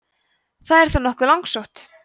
það er þó nokkuð langsótt